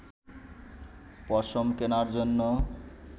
পশম কেনার জন্য